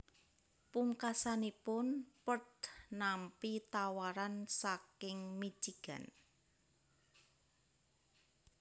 Pungkasanipun Perl nampi tawaran saking Michigan